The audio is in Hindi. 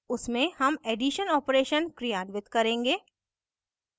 उसमे हम एडिशन operation क्रियान्वित करेंगे